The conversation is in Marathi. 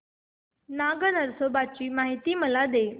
नाग नरसोबा ची मला माहिती दे